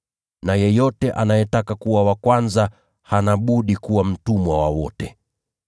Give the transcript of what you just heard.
na yeyote anayetaka kuwa wa kwanza, hana budi kuwa mtumwa wa wote.